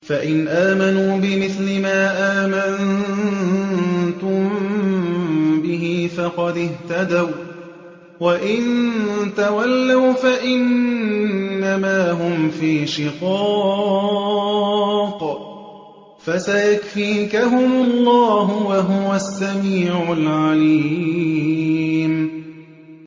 فَإِنْ آمَنُوا بِمِثْلِ مَا آمَنتُم بِهِ فَقَدِ اهْتَدَوا ۖ وَّإِن تَوَلَّوْا فَإِنَّمَا هُمْ فِي شِقَاقٍ ۖ فَسَيَكْفِيكَهُمُ اللَّهُ ۚ وَهُوَ السَّمِيعُ الْعَلِيمُ